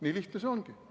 Nii lihtne see ongi.